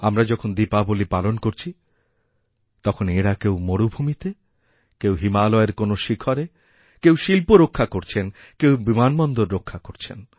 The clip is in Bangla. আমরা যখন দীপাবলীপালন করছি তখন এঁরা কেউ মরুভূমিতে কেউ হিমালয়ের কোনও শিখরে কেউ শিল্প রক্ষাকরছেন কেউ বিমানবন্দর রক্ষা করছেন